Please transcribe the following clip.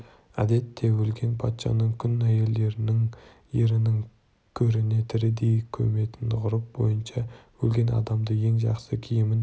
әдетте өлген патшаның күң әйелдерін ерінің көріне тірідей көметін ғұрып бойынша өлген адамды ең жақсы киімін